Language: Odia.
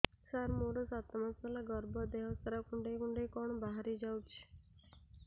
ସାର ମୋର ସାତ ମାସ ହେଲା ଗର୍ଭ ଦେହ ସାରା କୁଂଡେଇ କୁଂଡେଇ କଣ ବାହାରି ଯାଉଛି